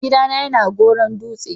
Gida na ya na Goron-Dutse.